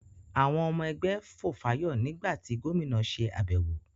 àwọn ọmọ ẹgbẹ́ fòfáyọ̀ nígbà tí Gómìnà se àbẹ̀wọ̀.